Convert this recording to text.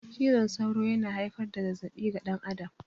Cizon sauro yana haifar da zazzabi ga dan adam